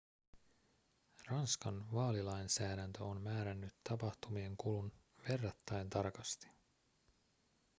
ranskan vaalilainsäädäntö on määrännyt tapahtumien kulun verrattain tarkasti